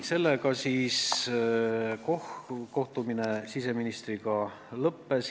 Sellega kohtumine siseministriga lõppes.